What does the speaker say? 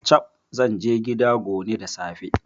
Chab! Zanje gida gone da safe